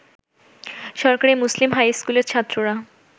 সরকারি মুসলিম হাইস্কুলের ছাত্ররা